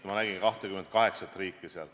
Ma nägin seal 28 riiki.